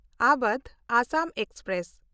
Awadh Assam express